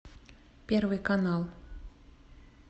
первый канал